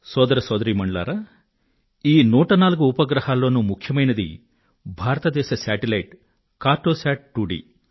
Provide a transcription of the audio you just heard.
సోదర సోదరీమణులారా ఈ 104 ఉపగ్రహాలలోనూ ముఖ్యమైంది భారతదేశ ఉపగ్రహం కార్టొశాట్ 2డి